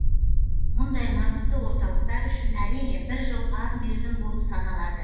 мұндай маңызды орталықтар үшін әрине бір жыл аз мерзім болып саналады